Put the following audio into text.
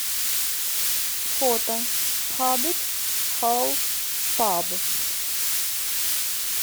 фото хоббит холл паб